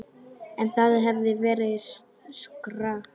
En það hefði verið skrök.